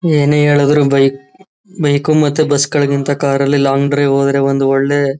ಏನೇ ಹೇಳಿದರು ಬೈ ಬೈಕ್ ಮತ್ತು ಬಸ್ ಗಳಿಗಿಂತ ಕಾರ್ ಲ್ಲಿ ಲಾಂಗ್ ಡ್ರೈವ್ ಹೋದರೆ ಒಂದು ಒಳ್ಳೆ.--